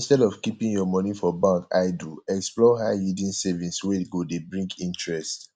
instead of keeping your money for bank idle explore high yield savings wey go dey bring interest